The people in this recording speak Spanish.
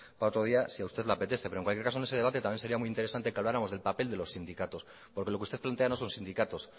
para otro día si a usted le apetece pero en cualquier caso en ese debate también sería muy interesante de que habláramos del papel de los sindicatos porque lo que usted plantea no son sindicatos